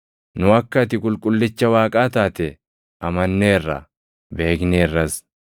Nu akka ati Qulqullicha Waaqaa taate amanneerra; beekneerras.”